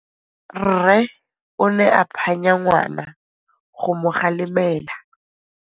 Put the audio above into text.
Rre o ne a phanya ngwana go mo galemela.